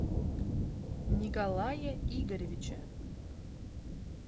николае игоревиче